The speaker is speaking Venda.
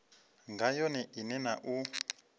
nga yone ine na u